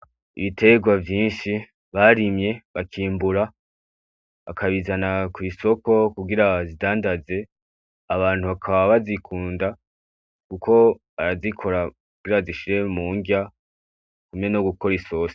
Ibiterwa vyinshi barimye bakimbura akabizana kw'isoko kugira zidandaze abantu bakaba bazikunda, kuko arazikora mira zishire mu ngya kumwe no gukora isose.